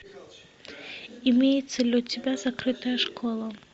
имеется ли у тебя закрытая школа